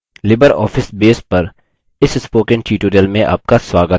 libreoffice base पर इस spoken tutorial में आपका स्वागत है